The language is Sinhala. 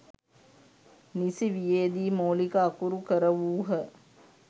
නිසි වියේදී මූලික අකුරු කරවූහ.